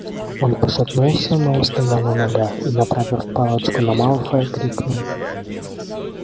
он пошатнулся но устоял на ногах и направив палочку на малфоя крикнул